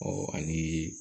ani